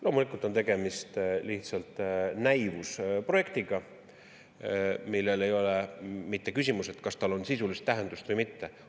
Loomulikult on tegemist lihtsalt näivusprojektiga, mille ei ole mitte küsimus, kas tal on sisulist tähendust või mitte.